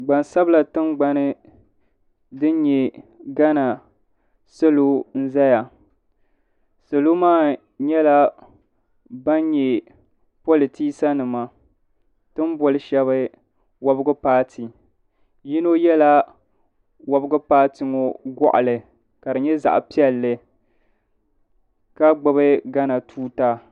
Gbansabila tingbani din nyɛ gana salo n zaya salo maa nyɛla ban nyɛ politiisa nima ti n boli shɛba wɔbigu paati yino yɛla wɔbigu paati ŋɔ gɔɣali ka di nyɛ zaɣa piɛlli ka gbubi gana tuuta.